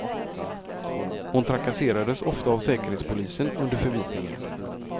Hon trakasserades ofta av säkerhetspolisen under förvisningen.